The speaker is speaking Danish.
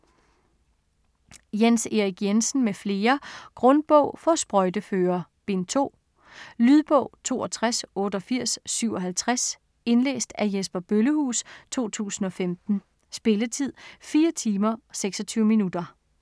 Jens Erik Jensen m.fl. : Grundbog for sprøjteførere Bind 2. Lydbog 628857 Indlæst af Jesper Bøllehuus, 2015. Spilletid: 4 timer, 26 minutter.